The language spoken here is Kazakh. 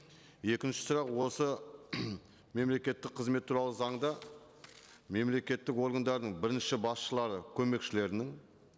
екінші сұрақ осы мемлекеттік қызмет туралы заңда мемлекеттік органдардың бірінші басшылары көмекшілерінің